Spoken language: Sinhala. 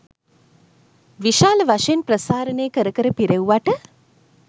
විශාල වශයෙන් ප්‍රසාරණය කර කර පිරෙව්වට